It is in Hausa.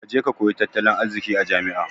Kaje ka koyi tattalin arziki a jami'a